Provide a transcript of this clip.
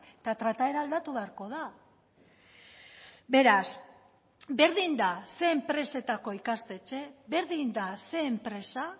eta trataera aldatu beharko da beraz berdin da ze enpresetako ikastetxe berdin da ze enpresa